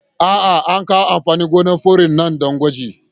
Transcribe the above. A'a, an kawo amfanin gonar fure nan don gwaji.